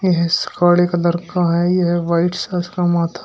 यह स काले कलर का है यह वाइट्स है इसका माथा --